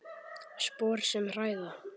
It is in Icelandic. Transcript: Spor sem hræða.